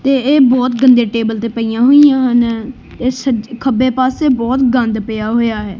ਤੇ ਇਹ ਬਹੁਤ ਗੰਦੇ ਟੇਬਲ ਤੇ ਪਈਆਂ ਹੋਈਆਂ ਹਨ ਖੱਬੇ ਪਾਸੇ ਬਹੁਤ ਗੰਦ ਪਿਆ ਹੋਇਆ ਹੈ।